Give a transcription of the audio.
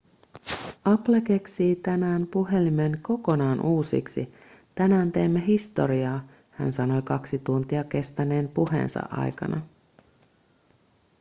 apple keksii tänään puhelimen kokonaan uusiksi tänään teemme historiaa hän sanoi kaksi tuntia kestäneen puheensa aikana